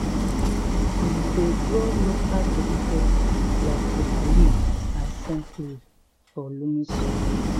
we dey grow local vegetable like bitterleaf and scentleaf for loamy soil